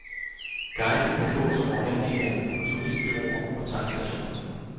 Guiden kan fås overalt i landet på turistbureauer og tankstationer.